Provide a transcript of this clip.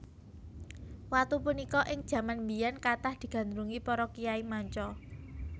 Watu punika ing jaman biyèn kathah digandrungi para kyai manca